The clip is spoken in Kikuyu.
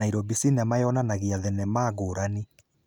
Nairobi Cinema yonanagia thenemea ngũrani.